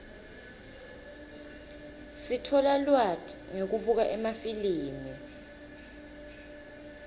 sitfola lwati ngekubuka emafilimi